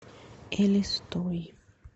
элистой